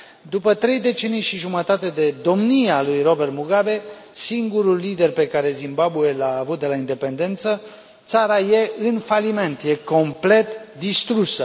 După trei decenii și jumătate de domnie a lui Robert Mugabe, singurul lider pe care Zimbabwe l a avut de la independență, țara e în faliment, e complet distrusă.